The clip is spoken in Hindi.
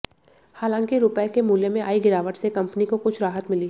हालांकि रुपये के मूल्य में आई गिरावट से कंपनी को कुछ राहत मिली